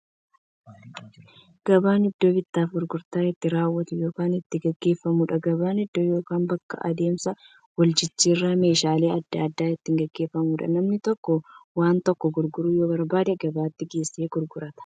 Gabaan iddoo bittaaf gurgurtaan itti raawwatu yookiin itti gaggeeffamuudha. Gabaan iddoo yookiin bakka adeemsa waljijjiiraan meeshaalee adda addaa itti gaggeeffamuudha. Namni tokko waan tokko gurguruu yoo barbaade, gabaatti geessee gurgurata.